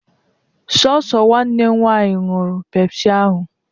Sọọsọ Nwanne m nwannyi ñyurụ pepsị ahụ